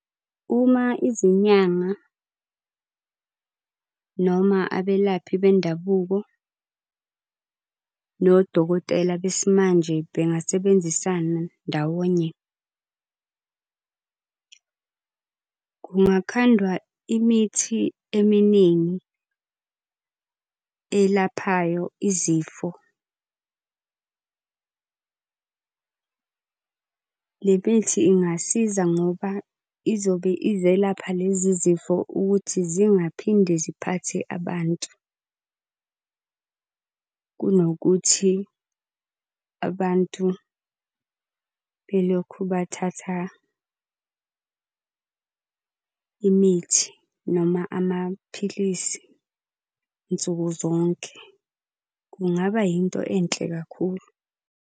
Uma izinyanga noma abelaphi bendabuko nodokotela besimanje bengasebenzisana ndawonye, kungakhandwa imithi eminingi elaphayo izifo. Le mithi ingasiza ngoba izobe izelapha lezi zifo ukuthi zingaphinde ziphathe abantu, kunokuthi abantu belokhu bathatha imithi noma amaphilisi nsuku zonke. Kungaba yinto enhle kakhulu.